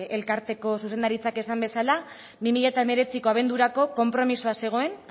elkarteko zuzendaritzak esan bezala bi mila hemeretziko abendurako konpromisoa zegoen